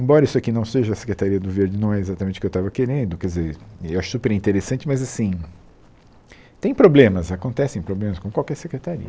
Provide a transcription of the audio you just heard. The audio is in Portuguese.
Embora isso aqui não seja a Secretaria do Verde, não é exatamente o que eu estava querendo, quer dizer, eu acho super interessante, mas assim, tem problemas, acontecem problemas com qualquer secretaria.